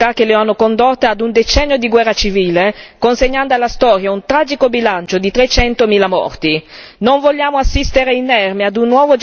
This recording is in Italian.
che purtroppo manifesta ancora tutte le fragilità che lo hanno condotto a un decennio di guerra civile consegnando alla storia un tragico bilancio di trecentomila morti.